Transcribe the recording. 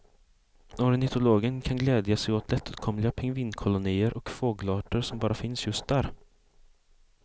Ornitologen kan glädja sig åt lättåtkomliga pingvinkolonier och fågelarter som bara finns just där.